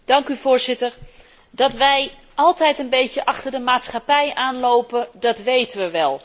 Voorzitter, dat wij altijd een beetje achter de maatschappij aanlopen, dat weten we wel.